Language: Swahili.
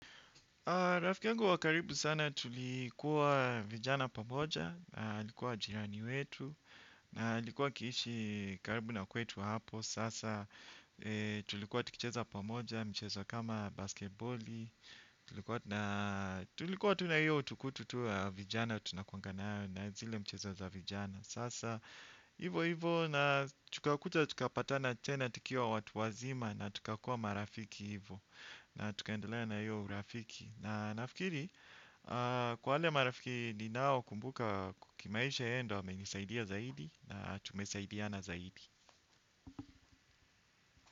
Rafiki yangu wa karibu sana tulikuwa vijana pamoja, alikuwa jirani wetu, na alikuwa akiishi karibu na kwetu hapo, sasa tulikuwa tukicheza pamoja, mchezo kama basketboli, tulikuwa tu na hiyo utukutu wa vijana, tunakuanga na na zile mchezo za vijana, sasa hivyo hivyo na tukakuja tukapatana tena tukiwa watu wazima na tukakuwa marafiki hivyo. Na tukaendelea na hiyo urafiki. Na nafikiri kwa wale marafiki ninao kumbuka ku kimaisha yeye ndo amenisaidia zaidi na tumesaidiana zaidi.